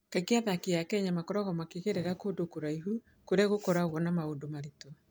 Kaingĩ athaki a Kenya makoragwo makĩmenyerera kũndũ kũraihu kũrĩa gũkoragwo na maũndũ maritũ.